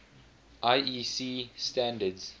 iec standards